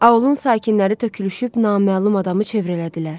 Aulun sakinləri tökülüşüb naməlum adamı çevrələdilər.